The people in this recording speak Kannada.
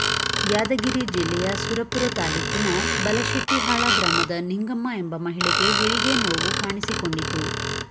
ಯಾದಗಿರಿ ಜಿಲ್ಲೆಯ ಸುರಪುರ ತಾಲೂಕಿನ ಬಲಶೆಟ್ಟಿಹಾಳ ಗ್ರಾಮದ ನಿಂಗಮ್ಮ ಎಂಬ ಮಹಿಳೆಗೆ ಹೆರಿಗೆ ನೋವು ಕಾಣಿಸಿಕೊಂಡಿತು